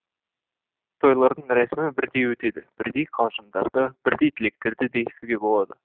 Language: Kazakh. тойлардың рәсімі бірдей өтеді бірдей қалжыңдарды бірдей тілектерді де естуге болады